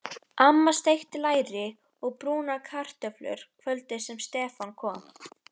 Amma steikti læri og brúnaði kartöflur kvöldið sem Stefán kom.